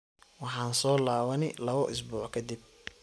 Waxan soolawani lawo isbuc kadib.